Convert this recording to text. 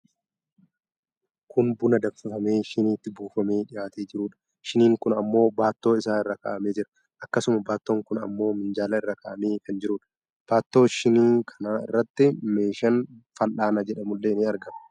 Kun buna danfifamee shiniitti buufamee dhiyaatee jruudha. Shiniin kun ammoo baattoo isaa irra kaa'amee jira. Akkasuma baattoon kun ammoo minjaala irra kaa'amee kan jiruudha. Baattoo shinii kanaa irratti meeshaan fal'aana jedhamullee ni argama.